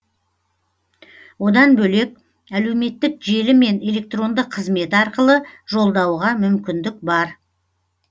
одан бөлек әлеуметтік желі мен электронды қызмет арқылы жолдауға мүмкіндік бар